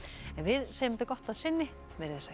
en við segjum þetta gott að sinni verið þið sæl